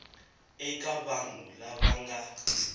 eka vanhu lava va nga